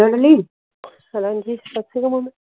ਸੱਤ ਸ਼੍ਰੀ ਅਕਾਲ ਮਮੀ